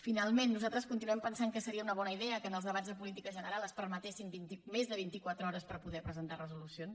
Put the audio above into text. finalment nosaltres continuem pensant que seria una bona idea que en els debats de política general es permetessin més de vintiquatre hores per poder presentar resolucions